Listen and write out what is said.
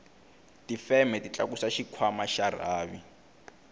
tifeme ti tlakusa xikhwanma xa rhavi